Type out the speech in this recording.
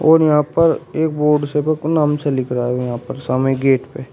और यहां पर एक बोर्ड से नाम से लिख रहा है यहां पर सामने गेट पे।